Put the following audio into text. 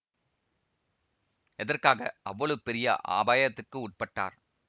எதற்காக அவ்வளவு பெரிய அபாயத்துக்கு உட்பட்டார்